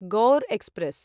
Gaur express